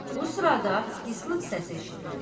Bu sırada ıslıq səsi eşidilir.